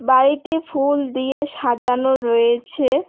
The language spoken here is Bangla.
বাড়িটি ফুল দিয়ে সাজানো রয়েছে।